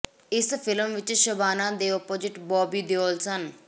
ਇਸ ਫਿਲਮ ਵਿੱਚ ਸ਼ਬਾਨਾ ਦੇ ਆਪੋਜਿਟ ਬੌਬੀ ਦਿਓਲ ਸਨ